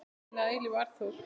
Þinn að eilífu, Arnþór.